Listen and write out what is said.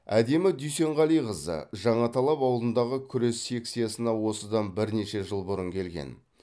әдемі дүйсенғалиқызы жаңаталап ауылындағы күрес секциясына осыдан бірнеше жыл бұрын келген